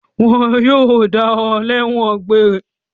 Wọn yóò dá ọ lẹ́ẹ́wọ̀n egbére.